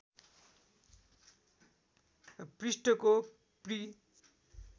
पृष्ठको पृ